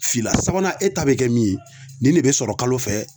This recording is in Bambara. Fila sabanan e ta be kɛ min ye ,nin de be sɔrɔ kalo fɛ